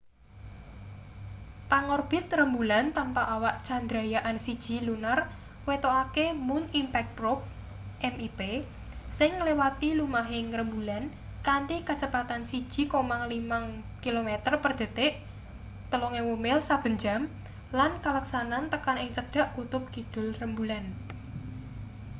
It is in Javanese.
pangorbit rembulan tanpa awak chandrayaan-1 lunar wetokake moon impact probe mip sing nglewati lumahing rembulan kanthi kacepatan 1,5 kilometer per detik 3000 mil saben jam lan kaleksanan tekan ing cedhak kutub kidul rembulan